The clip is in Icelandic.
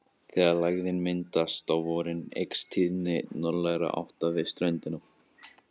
Þegar lægðin myndast á vorin eykst tíðni norðlægra átta við ströndina.